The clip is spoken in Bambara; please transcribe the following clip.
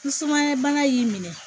Ni sumaya bana y'i minɛ